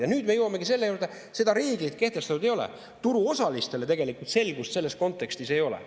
Ja nüüd me jõuamegi selle juurde, et seda reeglit kehtestatud ei ole, turuosalistel tegelikult selgust selles kontekstis ei ole.